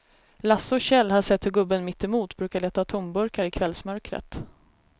Lasse och Kjell har sett hur gubben mittemot brukar leta tomburkar i kvällsmörkret.